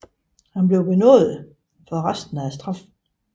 Han blev benådet for resten af straffen